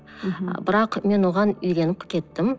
мхм бірақ мен оған үйреніп кеттім